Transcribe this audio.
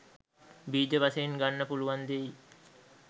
බීජ වශයෙන් ගන්න පුළුවන් දෙයින්